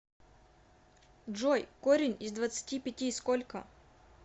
джой корень из двадцати пяти сколько